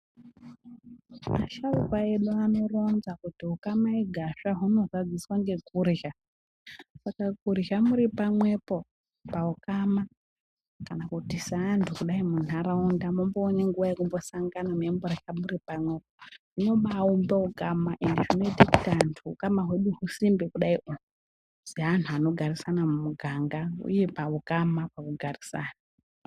Vasharuka vedu vanoronza kuti ukama igasva huno zadziswa ngekurya saka kurya muri pamwepo paukama kana kuti seantu kudai munharaunda momboone nguwa yekumbosangana momborye muri pamwepo zvinobaumbe ukama ende zvinoita kuti antu ukama hwedu husimbe kudaio seanhu anogarisana muganga uye paukama paugarisano.